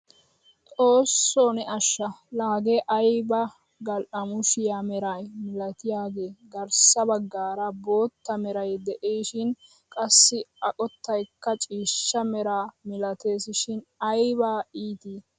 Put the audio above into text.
Xoossoo ne asha! La hagee aybee gal"amushiyaa meraa milatiyaagee garssa baggaara bootta meray de'isishin qassi a qottaykka ciishsha meraa milates shin ayba itii!